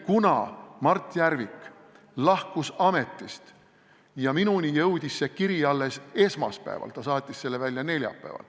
Kuna Mart Järvik lahkus ametist ja minuni jõudis see kiri alles esmaspäeval – ta saatis selle välja neljapäeval.